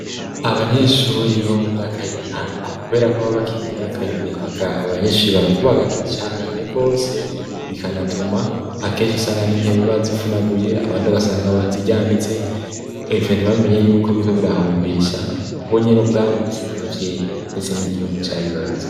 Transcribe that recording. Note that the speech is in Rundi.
Abanyeshuri bo mu myaka y'intango, kubera ko ba bakire mu myaka y'ubuyabaga abo banyeshuri barakubagana cane gose bikanatuma akenshi usanga n'intebe bazivunaguye abantu ugasanga baziryamitse , ivyo nyibamenye yuko biba birahombesha bo nyene ubwabo ndetse n'amavyeyi ndetse n'igihugu ca bibarutse.